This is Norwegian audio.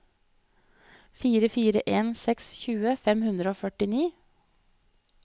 fire fire en seks tjue fem hundre og førtini